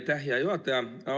Aitäh, hea juhataja!